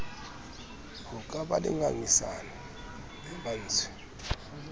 ho ka ba le ngangisano